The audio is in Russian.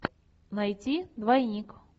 найти двойник